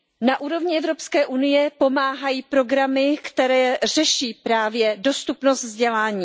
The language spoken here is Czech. Na úrovni Evropské unie pomáhají programy, které řeší právě dostupnost vzdělání.